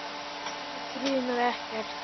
Hana grunar ekkert.